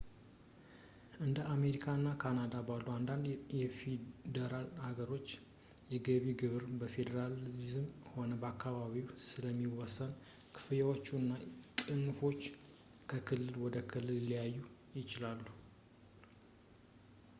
እንደ አሜሪካ እና ካናዳ ባሉ አንዳንድ የፌዴራል ሀገሮች የገቢ ግብር በፌዴራልም ሆነ በአከባቢው ስለሚወሰን ክፍያዎች እና ቅንፎች ከክልል ወደ ክልል ሊለያዩ ይችላሉ